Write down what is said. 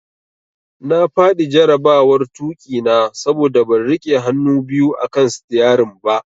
Na fadi jarabawar tuki na saboda ban rike hannu biyu akan sitiyarin ba.